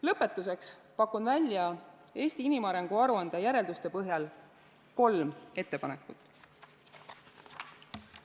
Lõpetuseks pakun välja Eesti inimarengu aruande järelduste põhjal kolm ettepanekut.